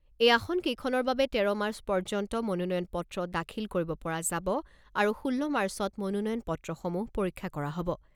এই আসন কেইখনৰ বাবে তেৰ মাৰ্চ পৰ্যন্ত মনোনয়ন পত্ৰ দাখিল কৰিব পৰা যাব আৰু ষোল্ল মাৰ্চত মনোনয়ন পত্ৰ সমূহ পৰীক্ষা কৰা হ'ব।